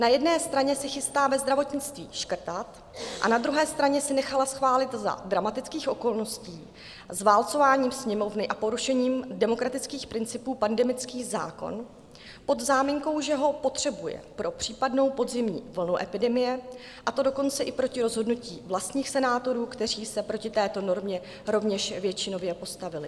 Na jedné straně se chystá ve zdravotnictví škrtat a na druhé straně si nechala schválit za dramatických okolností zválcováním Sněmovny a porušením demokratických principů pandemický zákon pod záminkou, že ho potřebuje pro případnou podzimní vlnu epidemie, a to dokonce i proti rozhodnutí vlastních senátorů, kteří se proti této normě rovněž většinově postavili.